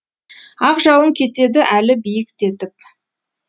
ақ жауын кетеді әлі биіктетіп